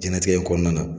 Jɛnatigɛ in kɔnɔna na